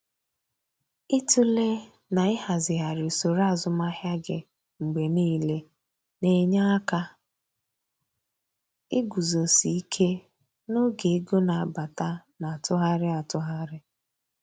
Ịtụle na ịhazighari usoro azụmahịa gị mgbe niile na-enye aka iguzosi ike n'oge ego na-abata na atụgharị atụgharị.